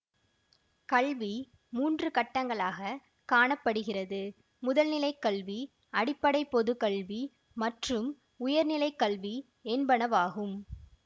கல்வி மூன்று கட்டங்களாகக் காண படுகிறது முதல் நிலை கல்வி அடிப்படை பொது கல்வி மற்றும் உயர்நிலை கல்வி என்பனவாகும்